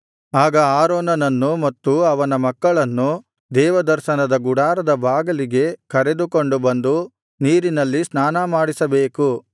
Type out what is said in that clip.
ಆಗ ಆರೋನನನ್ನೂ ಮತ್ತು ಅವನ ಮಕ್ಕಳನ್ನೂ ದೇವದರ್ಶನದ ಗುಡಾರದ ಬಾಗಿಲಿಗೆ ಕರೆದುಕೊಂಡು ಬಂದು ನೀರಿನಲ್ಲಿ ಸ್ನಾನಮಾಡಿಸಬೇಕು